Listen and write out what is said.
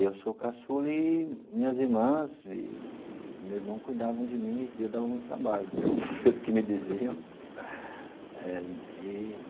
E eu sou o caçula e minhas irmãs eee meu irmão cuidavam de mim e eu dava muito trabalho pelo que me diziam eh e.